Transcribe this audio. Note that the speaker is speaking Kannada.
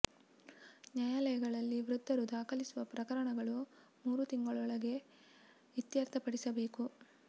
ನ್ಯಾಯಾಲಯಗಳಲ್ಲಿ ವೃದ್ಧರು ದಾಖಲಿಸುವ ಪ್ರಕರಣ ಗಳನ್ನು ಮೂರು ತಿಂಗಳೊಳಗೆ ಇತ್ಯರ್ಥ ಪಡಿಸಬೇಕು